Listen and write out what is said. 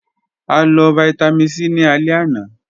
A lọ Vitamin c ni alẹ ana.